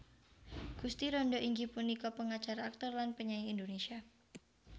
Gusti Randa inggih punika pengacara aktor lan penyanyi Indonesia